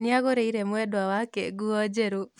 Nĩagũrĩire mwendwa wake nguo njerũ